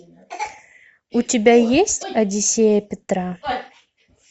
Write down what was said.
у тебя есть одиссея петра